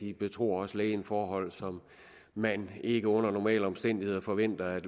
de betror også lægen forhold som man ikke under normale omstændigheder forventer at